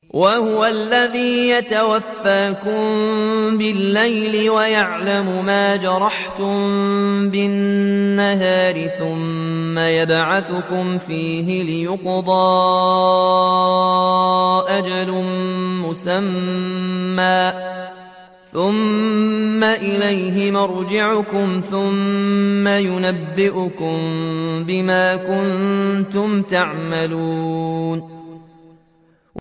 وَهُوَ الَّذِي يَتَوَفَّاكُم بِاللَّيْلِ وَيَعْلَمُ مَا جَرَحْتُم بِالنَّهَارِ ثُمَّ يَبْعَثُكُمْ فِيهِ لِيُقْضَىٰ أَجَلٌ مُّسَمًّى ۖ ثُمَّ إِلَيْهِ مَرْجِعُكُمْ ثُمَّ يُنَبِّئُكُم بِمَا كُنتُمْ تَعْمَلُونَ